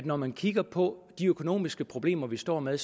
når man kigger på de økonomiske problemer vi står med